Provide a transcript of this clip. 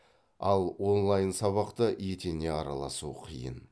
ал онлайн сабақта етене араласу қиын